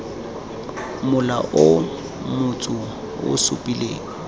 mola o motsu o supileng